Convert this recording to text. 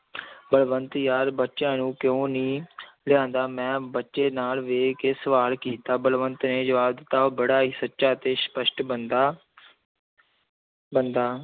ਬਲਵੰਤ ਯਾਰ, ਬੱਚਿਆਂ ਨੂੰ ਕਿਉਂ ਨੀ ਲਿਆਂਦਾ, ਮੈਂ ਬੱਚੇ ਨਾਲ ਵੇਖ ਕੇ ਸਵਾਲ ਕੀਤਾ, ਬਲਵੰਤ ਨੇ ਜਵਾਬ ਦਿੱਤਾ, ਉਹ ਬੜਾ ਹੀ ਸੱਚਾ ਤੇ ਸਪਸ਼ਟ ਬੰਦਾ ਬੰਦਾ